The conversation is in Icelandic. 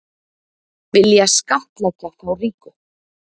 Vilja skattleggja þá ríku